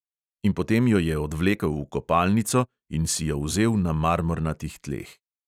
In potem jo je odvlekel v kopalnico in si jo vzel na marmornatih tleh.